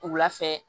Wula fɛ